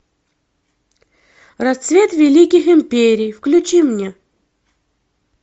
расцвет великих империй включи мне